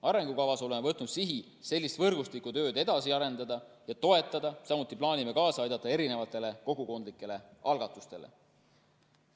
Arengukavas oleme võtnud sihi sellist võrgustikutööd edasi arendada ja toetada, samuti plaanime kaasa aidata kogukondlikele algatustele.